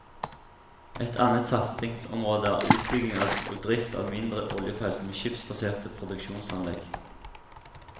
Et annet satsingsområde er utbygging og drift av mindre oljefelt med skipsbaserte produksjonsanlegg.